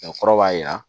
O kɔrɔ b'a jira